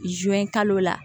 kalo la